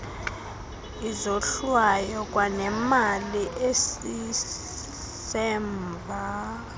izohlwayo kwanemali esisemva